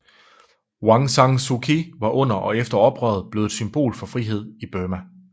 Aung San Suu Kyi var under og efter oprøret blevet et symbol for frihed i Burma